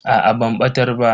Aa ban batar ba.